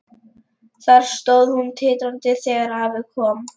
Þar stóð hún titrandi þegar afi kom.